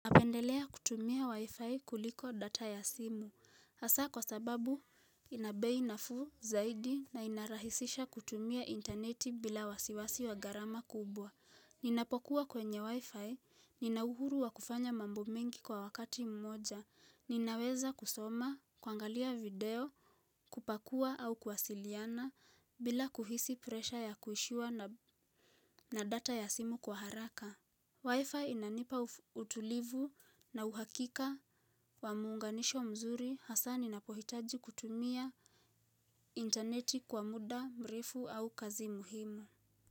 Napendelea kutumia wi-fi kuliko data ya simu. Hasa kwa sababu ina bei nafuu zaidi na inarahisisha kutumia intaneti bila wasiwasi wa gharama kubwa. Ninapokuwa kwenye wi-fi, ninauhuru wa kufanya mambo mengi kwa wakati mmoja. Ninaweza kusoma, kuangalia video, kupakua au kuwasiliana bila kuhisi presha ya kuishiwa na data ya simu kwa haraka. Wi-Fi inanipa utulivu na uhakika wa muunganisho mzuri hasa ninapohitaji kutumia intaneti kwa muda mrefu au kazi muhimu.